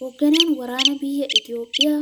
Hoogganaan waraanaa biyya Itoophiyaa